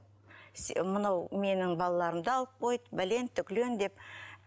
мынау менің балаларымды алып қойды бәлен деп